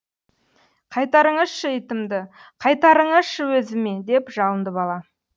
қайтарыңызшы итімді қайтарыңызшы өзіме деп жалынды бала